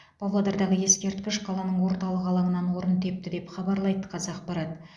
павлодардағы ескерткіш қаланың орталық алаңынан орын тепті деп хабарлайды қазақпарат